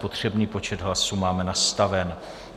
Potřebný počet hlasů máme nastavený.